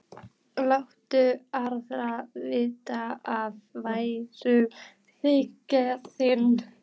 Láttu aðra vita af væntumþykju þinni.